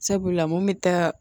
Sabula mun bɛ taa